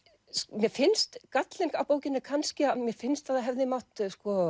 mér finnst gallinn á bókinni kannski að mér finnst að það hefði mátt